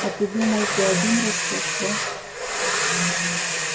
а ты думал ты один растёшь да